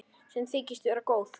Sem þykist vera góð.